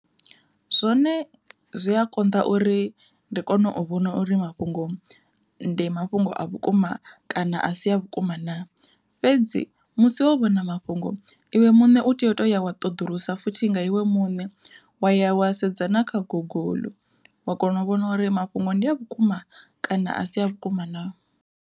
Zwone zwi a konḓa uri ndi kone u vhona uri mafhungo ndi mafhungo a vhukuma kana a si a vhukuma naa, fhedzi musi wo vhona mafhungo iwe muṋe u tea u to ya wa ṱoḓulusa futhi nga iwe muṋe wa ya wa sedzana kha guguḽu wa kona u vhona uri mafhungo ndi a vhukuma kana a si a vhukuma naa.